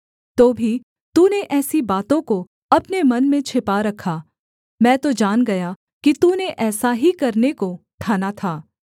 तो भी तूने ऐसी बातों को अपने मन में छिपा रखा मैं तो जान गया कि तूने ऐसा ही करने को ठाना था